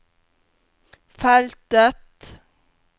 feltet